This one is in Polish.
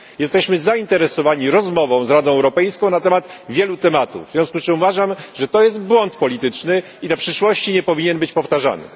Jesteśmy zainteresowani rozmową z Radą Europejską na temat wielu zagadnień, w związku z czym uważam, że to jest błąd polityczny i w przyszłości nie powinien być powtarzany.